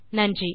நன்றி